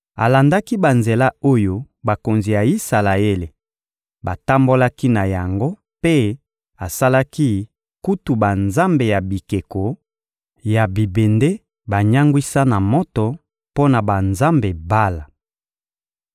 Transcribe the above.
Alandaki banzela oyo bakonzi ya Isalaele batambolaki na yango mpe asalaki kutu banzambe ya bikeko ya bibende banyangwisa na moto mpo na banzambe Bala.